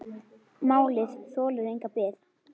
Málið þolir enga bið.